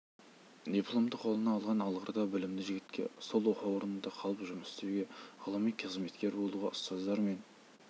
дипломды қолына алған алғыр да білімді жігітке сол оқу орнында қалып жұмыс істеуге ғылыми қызметкер болуға ұстаздары мен